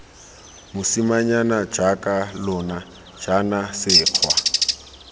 mosimanyana jaaka lona jaana sekgwa